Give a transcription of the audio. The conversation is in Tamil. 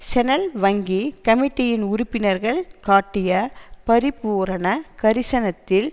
செனல் வங்கி கமிட்டியின் உறுப்பினர்கள் காட்டிய பரிபூரண கரிசனத்தில்